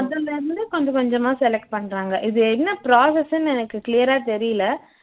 அதுல இருந்து கொஞ்சம் கொஞ்சமா select பண்ணுறாங்க இது என்ன process ன்னு எனக்கு clear ஆ தெரியல